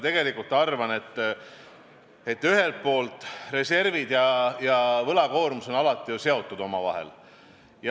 Nii et ühelt poolt reservid ja teisalt võlakoormus on alati omavahel seotud.